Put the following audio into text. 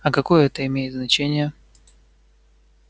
а какое это имеет значение